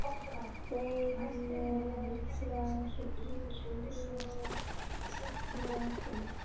Þjóðlög frá ýmsum löndum.